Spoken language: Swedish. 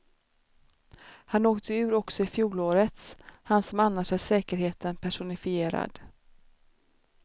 Han åkte ur också i fjolårets, han som annars är säkerheten personifierad.